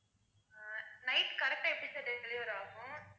அஹ் night correct ஆ எப்படி sir deliver ஆகும்?